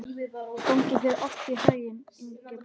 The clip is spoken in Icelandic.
Gangi þér allt í haginn, Ingeborg.